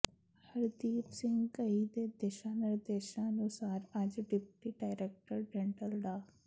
ਹਰਦੀਪ ਸਿੰਘ ਘਈ ਦੇ ਦਿਸ਼ਾ ਨਿਰਦੇਸ਼ਾਂ ਅਨੁਸਾਰ ਅੱਜ ਡਿਪਟੀ ਡਾਇਰੈਕਟਰ ਡੈਂਟਲ ਡਾ